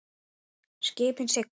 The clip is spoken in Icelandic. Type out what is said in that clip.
Skipin sigla.